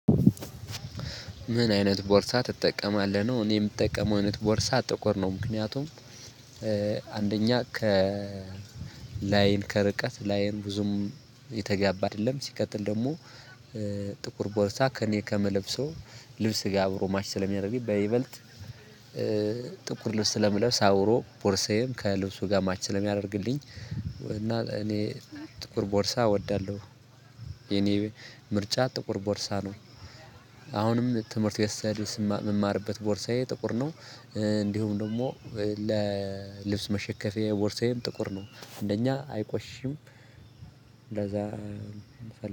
ምን አይነት ቦርሳ ትጠቀማለህ ነው? እኔ የምጠቀመው አይነት ቦርሳ ጥቁር ነው ምክንያቱም ከላይን ከርቀት ላይን ብዙም የተጋባ አይደለም ሲቀጥል ደግሞ ጥቁር ቦርሳ ከእኔ ከመለብሰው ልብስ ጋር አብሮ ማች ስለሚያደርግ በይበልጥ ጥቁር ልብስ ስለምለብስ አብሮ ቦርሳዬም ከልብሱ ጋር ማች ስለሚያደርግልኝ እና እኔ ጥቁር ቦርሳ እወዳለሁ የኔ ምርጫ ጥቁር ቦርሳ ነው። አሁንም ትምህርት ስሄድ ስም የምማርበት ቦርሳዬ ጥቁር ነው። እንዲሁም ደግሞ ለልብስ መሸከፊያየ ቦርሳዬ ጥቁር ነው እንደኛ አይቆሽሽም። እንደዛ